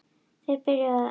Þeir byrjuðu mun betur.